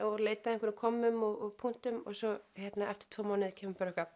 og leita að einhverjum kommum og punktum svo eftir tvo mánuði kemur